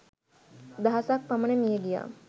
දහසක් පමණ මියගියා